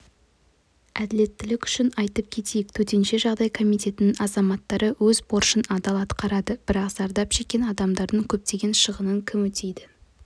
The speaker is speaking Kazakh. әділеттілік үшін айтып кетейік төтенше жағдай комитетінің азаматтары өз борышын адал атқарады бірақ зардап шеккен адамдардың көптеген шығынын кім өтейді